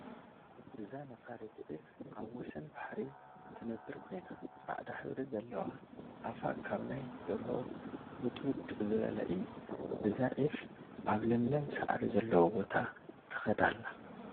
እዛ ነፋሪት ዒፍ አብ ወሰን ባሕሪ ትነበር ኮይና ፃዕዳ ሕብሪ ዘለዋ አፋ ካብ ናይ ደርሆ ሙጥሙጥ ዝበለ እየ፡፡ እዛ ዒፍ አብ ለምለም ሳዕሪ ዘለዎ ቦታ ትከድ አላ፡፡